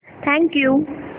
thank you